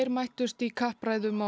mættust í kappræðum á